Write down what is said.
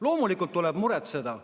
Loomulikult tuleb muretseda.